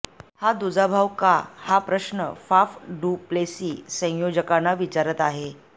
हा दुजाभाव का हा प्रश्न फाफ डु प्लेसी संयोजकांना विचारत आहे